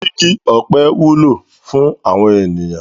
Igi ọ̀pẹ wúlò fún àwọn ènìyàn.